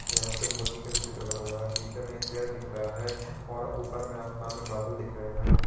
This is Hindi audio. यहां पे मुर्गी का भी चित्र बना हुआ है पीछे में एक पेड़ दिख रहा है और ऊपर में आसमान में बादल दिख रहे हैं।